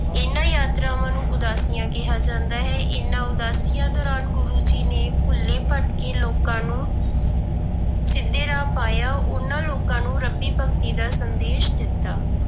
ਇਹਨਾਂ ਯਾਤਰਾਵਾਂ ਨੂੰ ਉਦਾਸੀਆਂ ਕਿਹਾ ਜਾਂਦਾ ਹੈ, ਇਹਨਾਂ ਉਦਾਸੀਆਂ ਦੌਰਾਨ ਗੁਰੂ ਜੀ ਨੇ ਭੁੱਲੇ ਭਟਕੇ ਲੋਕਾਂ ਨੂੰ ਸਿੱਧੇ ਰਾਹ ਪਾਇਆ, ਉਹਨਾਂ ਲੋਕਾਂ ਨੂੰ ਰੱਬੀ ਭਗਤੀ ਦਾ ਸੰਦੇਸ਼ ਦਿੱਤਾ।